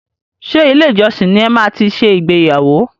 Ṣe ilé ìjọsìn ní e máa tí ṣe ìgbéyàwó?